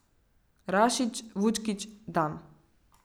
Rašić, Vučkić, Dam.